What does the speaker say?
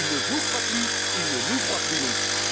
Ils ne vous croient plus, ils ne nous croient plus non plus.